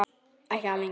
Ekki algeng.